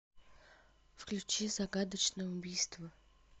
включи загадочное убийство